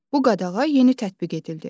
Bu qadağa yeni tətbiq edildi.